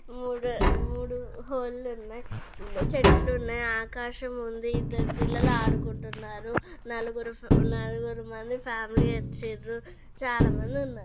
మూడ్-మూడు హోల్లు ఉన్నాయి చెట్లు ఉన్నాయి ఆకాశం ఉంది ఇద్దరు పిల్లలు ఆడుకుంటున్నారు నలుగురు-నలుగురు మంది ఫ్యామిలీ వచ్చిన్రు చాలా మంది ఉన్నారు.